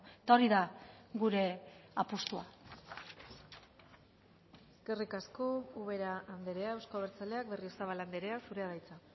eta hori da gure apustua eskerrik asko ubera andrea euzko abertzaleak berriozabal andrea zurea da hitza